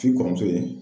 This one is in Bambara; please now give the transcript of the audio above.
K'i kɔrɔ ye